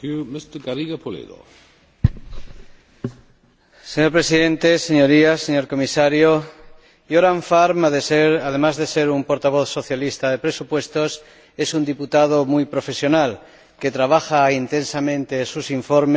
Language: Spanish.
Señor Presidente, Señorías, señor Comisario, Göran Färm, además de ser un portavoz socialista de presupuestos, es un diputado muy profesional que trabaja intensamente sus informes, y este que discutimos ahora es un buen ejemplo de ello.